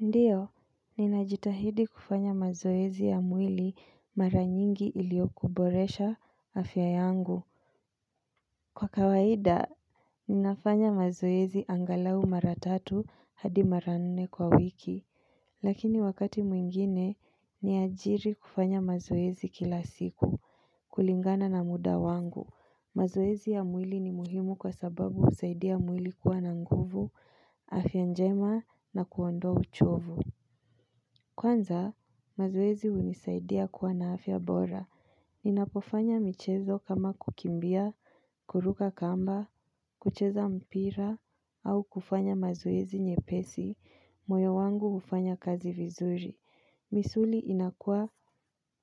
Ndiyo, ninajitahidi kufanya mazoezi ya mwili mara nyingi iliokuboresha afya yangu kwa kawaida, ninafanya mazoezi angalau mara tatu hadi mara nne kwa wiki Lakini wakati mwingine, niajiri kufanya mazoezi kila siku kulingana na muda wangu mazoezi ya mwili ni muhimu kwa sababu usaidia mwili kuwa na nguvu, afya njema na kuondoa uchovu Kwanza, mazoezi hunisaidia kuwa na afya bora. Ninapofanya michezo kama kukimbia, kuruka kamba, kucheza mpira, au kufanya mazoezi nyepesi, moyo wangu hufanya kazi vizuri. Misuli inakua,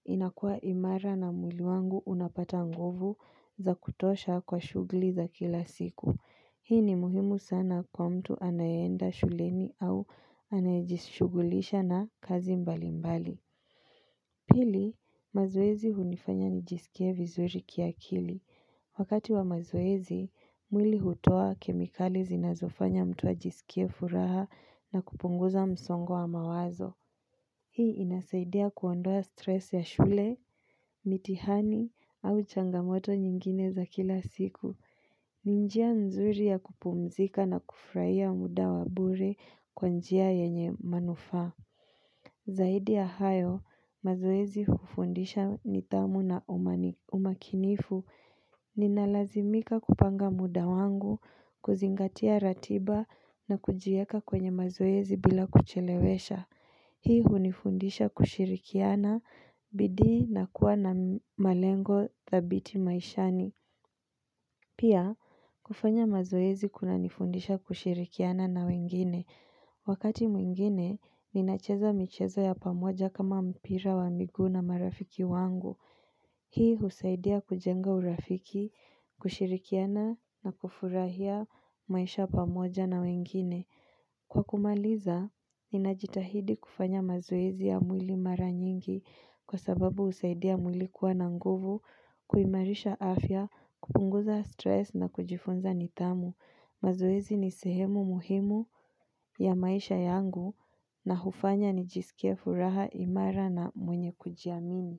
inakua imara na mwili wangu unapata nguvu za kutosha kwa shuguli za kila siku. Hii ni muhimu sana kwa mtu anayeenda shuleni au anayejishugulisha na kazi mbali mbali. Pili, mazoezi hunifanya nijisikie vizuri kiakili. Wakati wa mazoezi, mwili hutoa kemikali zinazofanya mtu ajisikie furaha na kupunguza msongo wa mawazo. Hii inasaidia kuondoa stress ya shule, mitihani au changamoto nyingine za kila siku. Ni njia nzuri ya kupumzika na kufurahia muda wa bure kwa njia yenye manufaa Zaidi ya hayo, mazoezi hufundisha nitamu na umani umakinifu Ninalazimika kupanga muda wangu, kuzingatia ratiba na kujieka kwenye mazoezi bila kuchelewesha Hii hunifundisha kushirikiana, bidii na kuwa na malengo thabiti maishani Pia, kufanya mazoezi kunanifundisha kushirikiana na wengine. Wakati mwingine, ninacheza michezo ya pamoja kama mpira wa miguu na marafiki wangu. Hii husaidia kujenga urafiki, kushirikiana na kufurahia maisha pamoja na wengine. Kwa kumaliza, ninajitahidi kufanya mazoezi ya mwili mara nyingi kwa sababu husaidia mwili kuwa na nguvu, kuimarisha afya, kupunguza stress na kujifunza nidhamu. Mazoezi ni sehemu muhimu ya maisha yangu na hufanya nijisikia furaha imara na mwenye kujiamini.